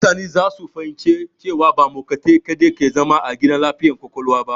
Mutane za su fahimci cewa ba mahaukatai kadai ke zama a gidan lafiyar ƙwaƙwalwa ba.